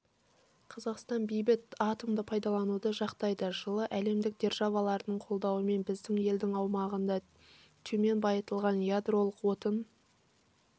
қазақстан бейбіт атомды пайдалануды жақтайды жылы әлемдік державалардың қолдауымен біздің елдің аумағында төмен байытылған ядролық отын